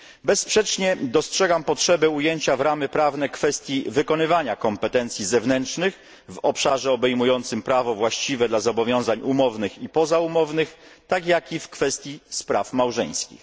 Bezsprzecznie dostrzegam potrzebę ujęcia w ramy prawne kwestii wykonywania kompetencji zewnętrznych w obszarze obejmującym prawo właściwe dla zobowiązań umownych i pozaumownych, tak jak i w kwestii spraw małżeńskich.